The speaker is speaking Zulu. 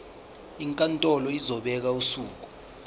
inkantolo izobeka usuku